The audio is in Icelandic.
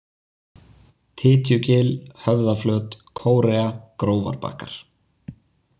Tytjugil, Höfðaflöt, Kórea, Grófarbakkar